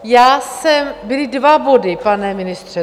Já jsem - byly dva body, pane ministře.